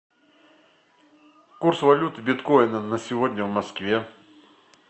курс валюты биткоина на сегодня в москве